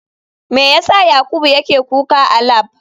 Me yasa yakubu yake kuka a lab?